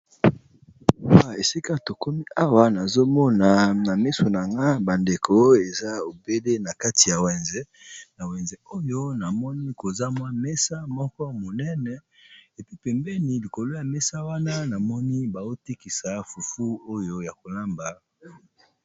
Esika to komi awa nazomona na miso na nga bandeko eza obele na kati ya wenze, na wenze oyo namoni kozamwa mesa moko monene epi pembeni likolo ya mesa wana namoni baotikisa fufu oyo ya kolamba.